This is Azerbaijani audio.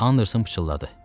Anderson pıçıldadı.